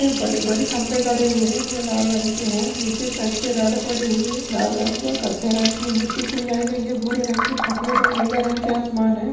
ए बड़ी बड़ी खंबे गड़े हुए हैं जो लाल रंग के हैं नीचे एक साइड पे रड पड़े हुए लाल रंग की और कत्थे रंग की मिट्टी कुड़ियां गई है भूरे रंग के सफेद और नीले रंग के आसमान है।